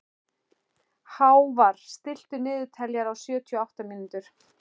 Hávarr, stilltu niðurteljara á sjötíu og átta mínútur.